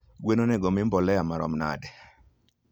Gwen onego omii mbolea mahalo nade?